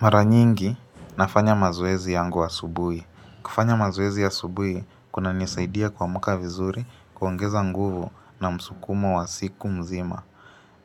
Mara nyingi nafanya mazoezi yangu asubui. Kufanya mazoezi asubui kunanisaidia kuamuka vizuri kuongeza nguvu na msukumo wa siku mzima.